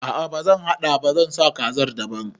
A'a bazan haɗa ba, zan saka kazar daban